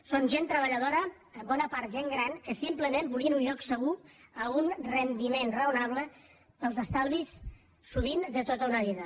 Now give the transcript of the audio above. són gent treballadora en bona part gent gran que simplement volien un lloc segur a un rendiment raonable per als estalvis sovint de tota una vida